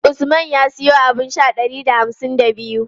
Usman ya siyo abun sha ɗari da hamsin da biyu.